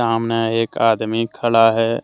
सामने एक आदमी खड़ा है।